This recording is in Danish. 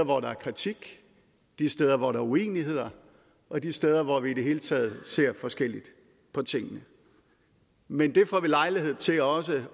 hvor der er kritik de steder hvor der er uenigheder og de steder hvor vi i det hele taget ser forskelligt på tingene men det får vi lejlighed til også